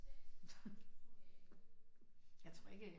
Jeg tror ikke